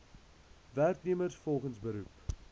werknemers volgens beroep